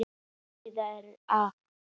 Einföld skýring er á því.